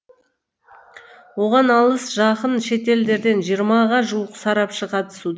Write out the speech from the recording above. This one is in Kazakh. оған алыс жақын шетелдерден жиырмаға жуық сарапшы қатысуда